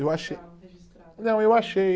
Eu achei, não, eu achei